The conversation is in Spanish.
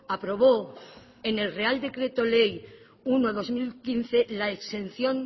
aprobó en el real decreto ley uno barra dos mil quince la exención